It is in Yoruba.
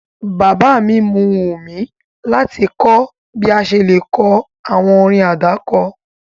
Bàbá mi mu wùmí láti kọ bi a ṣe le ko àwọn orin àdáko